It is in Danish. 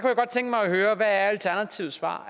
jeg godt tænke mig at høre hvad alternativets svar